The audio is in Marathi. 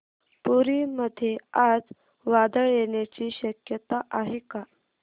पुरी मध्ये आज वादळ येण्याची शक्यता आहे का